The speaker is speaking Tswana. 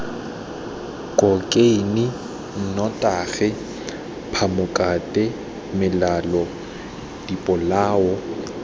khokheine nnotagi phamokate melelo dipolao